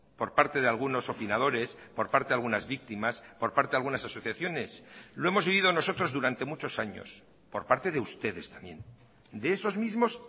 por parte de algunos opinadores por parte de algunas víctimas por parte de algunas asociaciones lo hemos vivido nosotros durante muchos años por parte de ustedes también de esos mismos